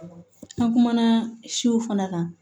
An kumana siw fana kan